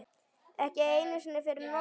Ekki einu sinni fyrir Nonna.